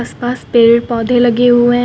पेड़ पौधे लगे हुए हैं।